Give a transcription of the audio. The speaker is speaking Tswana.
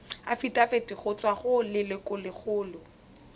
afitafiti go tswa go lelokolegolo